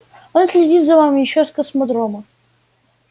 он следит за вами ещё с космодрома